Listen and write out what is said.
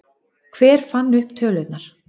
Hver fann upp tölurnar?